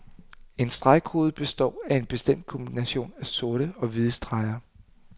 En stregkode består af en bestemt kombination af sorte og hvide streger.